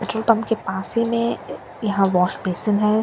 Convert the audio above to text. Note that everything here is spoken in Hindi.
के पम्प के पास ही में यहाँ वॉशपेसन है।